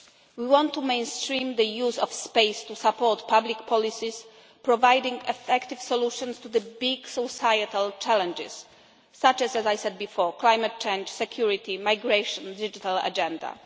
We want to mainstream the use of space to support public policies, providing effective solutions to the big societal challenges such as as I said before climate change, security, migration, and the digital agenda.